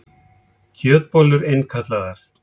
Kjötbollur innkallaðar